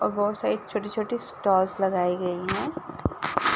और बहु सारी छोटी-छोटी स्टॉल्स लगाई गईं हैं।